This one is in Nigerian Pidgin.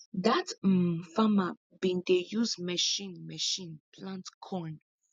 dat um farmer bin dey use machine machine plant corn